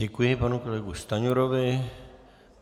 Děkuji panu kolegovi Stanjurovi.